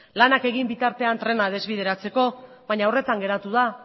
lanak egin bitartean trena desbideratzeko baina horretan geratu da